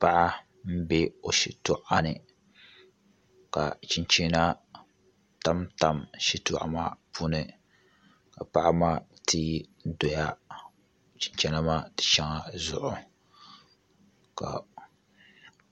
Paɣa n bɛ o shitoɣu ni ka chinchina tamtam shitoɣu maa puuni ka paɣa maa teei doya chinchina maa shɛŋa zuɣu